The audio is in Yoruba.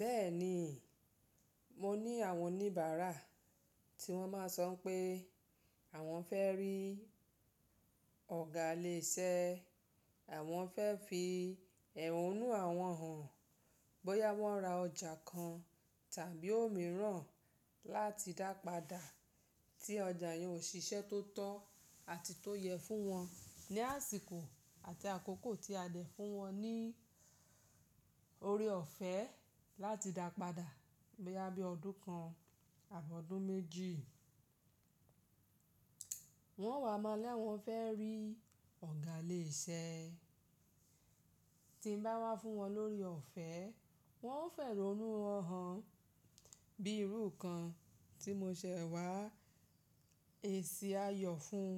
Bẹ́ẹ̀ni, mo ní àwọn oníbàárà tí wọ́n máa sọ pé àwọn fẹ́ rí ọ̀gá ilé iṣẹ́, àwọn fẹ́ fi ẹ̀hónú àwọn hàn bóyá wọ́n ra ọjà kan tàbí òmíràn láti dàpadà tí ọjà yẹn ò ṣiṣẹ́ tó tọ́ àti tó yẹ fún wọn ní àsìkò àti àkókò tí a dẹ fún wọn ní ore ọ̀fẹ́ láti dàpadà bóyá bí ọdún kan àbí ọdún méjì. Wọ́n wà mọ́ l'awọ̀n fẹ́ rí ọ̀gá ilé iṣẹ́ tí ń bá wá fún wọn l'ore ọ̀fẹ́, wọ́n ó f'ehonu wọn hàn bí irú kan tí mo ṣẹ̀ wá èsì ayọ̀ fún